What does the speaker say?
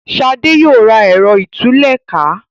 Shade yóò rà Ẹ̀rọ ìtúlẹ̀ká.